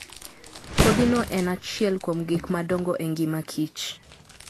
Kodhino en achiel kuom gik madongo e ngima kich.